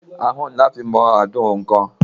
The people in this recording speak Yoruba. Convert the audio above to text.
Ahán ní a fí ń mọ àádùn oun kan.